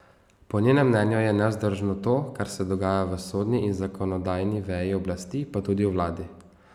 Po njenem mnenju je nevzdržno to, kar se dogaja v sodni in zakonodajni veji oblasti, pa tudi v vladi.